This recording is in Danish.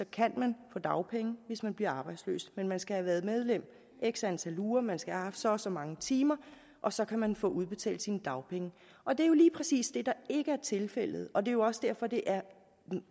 kan man få dagpenge hvis man bliver arbejdsløs men man skal have været medlem i x antal uger man skal have haft så og så mange timer og så kan man få udbetalt sine dagpenge og det er jo lige præcis det der ikke er tilfældet og det er også derfor det er